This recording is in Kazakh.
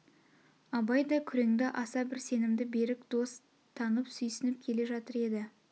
абай да күреңді аса бір сенімді берік дос танып сүйсніп келе жатыр еді